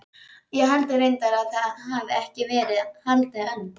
Ég held reyndar að það hafi ekki verið haldin önn